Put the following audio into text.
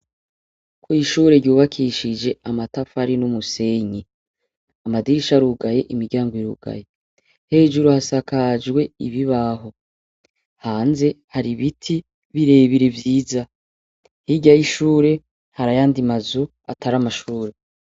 Kwishure ryubakishije amatafari numusenyi amadirisha arugaye imiryango irugaye hejuru hasakajwe ibibaho hanze hari ibiti birebire vyiza hirya yishure hari ayandi mazu atari amashure